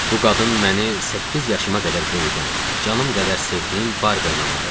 Bu qadın məni səkkiz yaşıma qədər böyüdən, canım qədər sevdiyim Barbernana idi.